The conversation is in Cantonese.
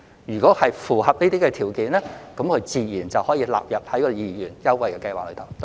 如果符合這些條件，自然可獲納入二元優惠計劃。